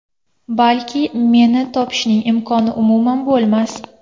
Balki, meni topishning imkoni umuman bo‘lmas.